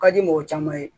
Ka di mɔgɔ caman ye